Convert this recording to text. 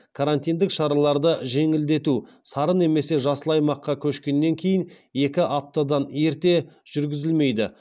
карантиндік шараларды жеңілдету сары немесе жасыл аймаққа көшкеннен кейін екі аптадан ерте жүргізілмейді